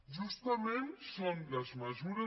justament són les mesures